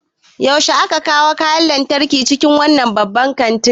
Yaushe aka kawo kayan lantarki cikin wannan babban kantin?